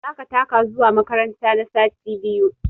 Za ka taka zuwa makaranta na sati biyu!